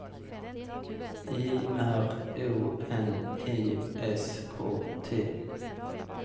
I R O N I S K T